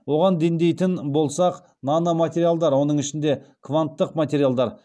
оған дендейтін болсақ нано материалдар оның ішінде кванттық материалдар